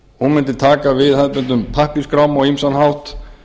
hún mundi taka við hefðbundnum pappírsskrám á ýmsan hátt